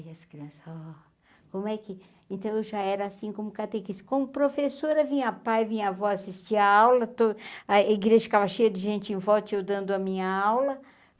Aí as crianças, ó, como é que... Então eu já era assim como Catequista, como professora, vinha pai, vinha vó assistir a aula, to a igreja ficava cheia de gente em volta, eu dando a minha aula, e aí...